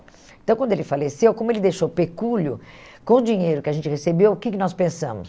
Então, quando ele faleceu, como ele deixou o pecúlio, com o dinheiro que a gente recebeu, o que que nós pensamos?